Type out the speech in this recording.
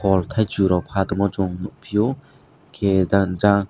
fal taisok rok patongma chung nogpio hingke jang jang.